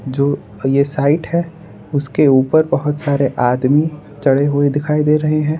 जो ये साइट है उसके ऊपर बहुत सारे आदमी चढ़े हुए दिखाई दे रहे हैं।